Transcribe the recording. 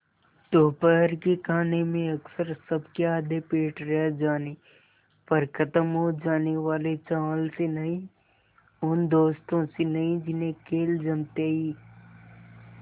दोपहर के खाने में अक्सर सबके आधे पेट रह जाने पर ख़त्म हो जाने वाले चावल से नहीं उन दोस्तों से नहीं जिन्हें खेल जमते ही